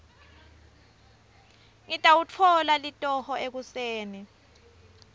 ngitawutfola litoho ekuseni